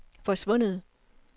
forsvundet